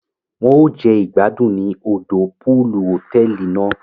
Won o jẹ igbadun ni òdò pọọlù hotẹẹli náà